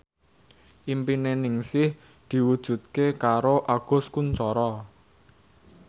impine Ningsih diwujudke karo Agus Kuncoro